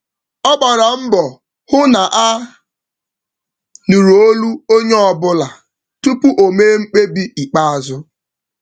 Ọ gbara mbọ hụ na a nụrụ olu onye ọbụla tupu o mee mkpebi ikpeazụ.